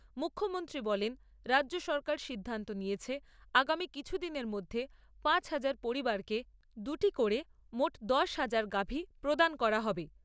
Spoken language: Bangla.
মুখ্যমন্ত্রী বলেন, রাজ্য সরকার সিদ্ধান্ত নিয়েছে আগামী কিছুদিনের মধ্যে পাঁচ হাজার পরিবারকে দুটি করে মোট দশ হাজার গাভি প্রদান করা হবে।